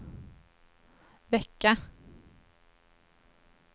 vecka